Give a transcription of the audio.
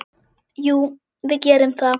Jú, við gerum það.